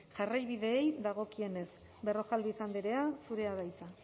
jarraibideei dagokienez berrojalbiz andrea zurea da hitza